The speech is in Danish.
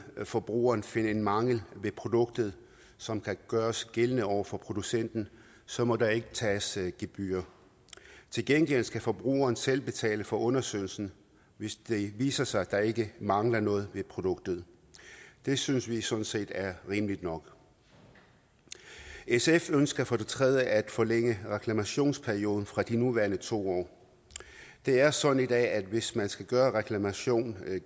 forbrugeren finde en mangel ved produktet som kan gøres gældende over for producenten så må der ikke tages gebyr til gengæld skal forbrugeren selv betale for undersøgelsen hvis det viser sig at der ikke mangler noget ved produktet det synes vi sådan set er rimeligt nok sf ønsker for det tredje at forlænge reklamationsperioden fra de nuværende to år det er sådan i dag at hvis man skal gøre reklamation